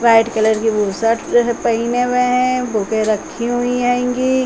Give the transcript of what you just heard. White colour की bush shirt जो है पहने हुए है बुके रखी हुई हैंगी।